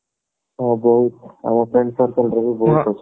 ହଁ ବହୁତ ଆମ friend circle ରେ ବି ବହୁତ ଅଛନ୍ତି